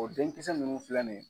O denkisɛ ninnu filɛ nin ye.